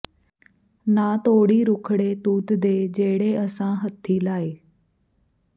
ਨਾ ਤੋੜੀਂ ਰੁੱਖੜੇ ਤੂਤ ਦੇ ਜਿਹੜੇ ਅਸਾਂ ਹੱਥੀਂ ਲਾਏ